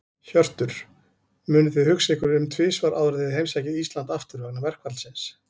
Hjörtur: Munuð þið hugsa ykkur um tvisvar áður en þið heimsækið Íslands aftur, vegna verkfallsins?